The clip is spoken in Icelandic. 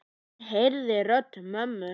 Hann heyrði rödd mömmu.